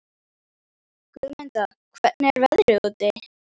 Guðmunda, hvernig er veðrið úti?